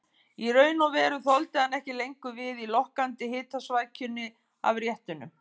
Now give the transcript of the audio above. Í raun og veru þoldi hann ekki lengur við í lokkandi hitasvækjunni af réttunum.